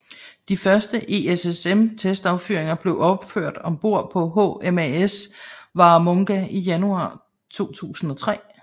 De første ESSM testaffyringer blev udført ombord på HMAS Warramunga i januar 2003